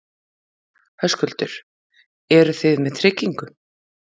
Höskuldur: Eru þið með tryggingu?